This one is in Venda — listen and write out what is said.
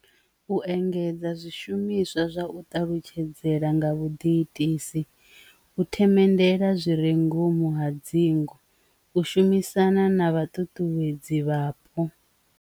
U engedza zwishumiswa zwa u ṱalutshedzela nga vhuḓi itisi, u themendela zwirengwa khomu hadzinga, u shumisana na vha ṱuṱuwedziwe vhapo.